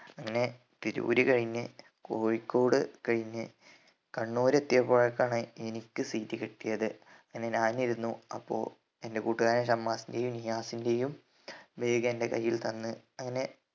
അങ്ങനെ തിരൂര് കഴിഞ്ഞ് കോഴിക്കോട് കഴിഞ്ഞ് കണ്ണൂര് എത്തിയപ്പോഴേക്കാണ് എനിക്ക് seat കിട്ടിയത് അങ്ങനെ ഞാന് ഇരുന്നു അപ്പൊ എൻ്റെ കൂട്ടുകാരൻ ഷമ്മാസിൻ്റെയും നിയാസിൻ്റെയും bag എൻ്റെ കയ്യിൽ തന്ന് അങ്ങനെ